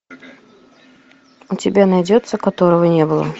у тебя найдется которого не было